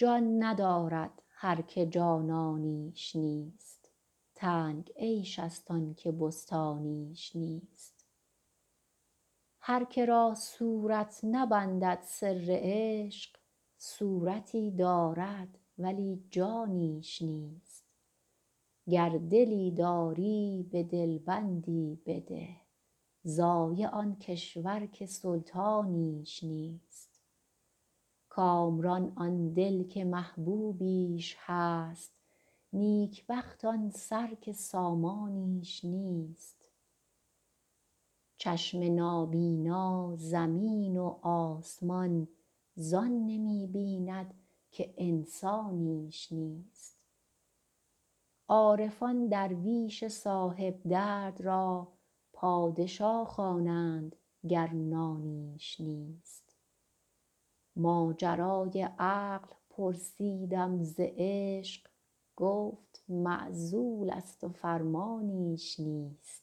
جان ندارد هر که جانانیش نیست تنگ عیش ست آن که بستانیش نیست هر که را صورت نبندد سر عشق صورتی دارد ولی جانیش نیست گر دلی داری به دل بندی بده ضایع آن کشور که سلطانیش نیست کامران آن دل که محبوبیش هست نیک بخت آن سر که سامانیش نیست چشم نابینا زمین و آسمان زان نمی بیند که انسانیش نیست عارفان درویش صاحب درد را پادشا خوانند گر نانیش نیست ماجرای عقل پرسیدم ز عشق گفت معزول ست و فرمانیش نیست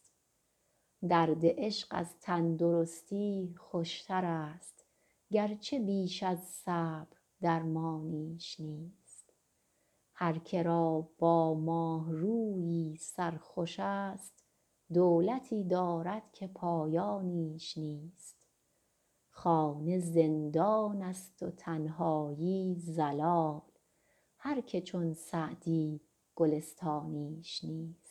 درد عشق از تن درستی خوش ترست گرچه بیش از صبر درمانیش نیست هر که را با ماه رویی سر خوش ست دولتی دارد که پایانیش نیست خانه زندان ست و تنهایی ضلال هر که چون سعدی گلستانیش نیست